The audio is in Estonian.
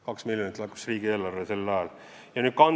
2 miljonit eurot laekus riigieelarvesse sel ajal!